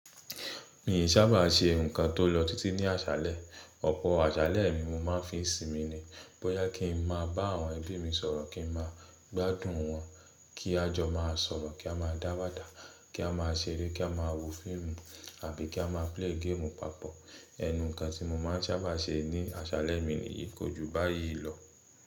Mii n sábà ṣe ǹkan tó lọ títí ní àṣálẹ́, ọ̀pọ̀ àṣálẹ́ mi mo máa ń fi sinmi ni. Bóyá kín n máa bá àwọn ẹbí mi sọ̀rọ̀, kín ma gbádùn wọn, kí a jọ má a sọ̀rọ̀, kí a máa dáwadà, kí a má a ṣeré, kí a máa wo fíìmù àbí kí a má a play game papọ̀. Ẹnù ǹkan tí mo máa ń sábà ṣe ní àṣálẹ́ mi ni yìí, kójú báyìí lọ.